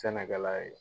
Sɛnɛkɛla ye